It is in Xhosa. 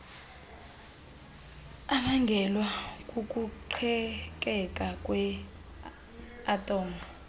ebangelwa kukuqhekeka kweathom